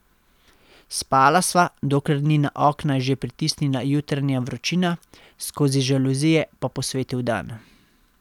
Spala sva, dokler ni na okna že pritisnila jutranja vročina, skozi žaluzije pa posvetil dan.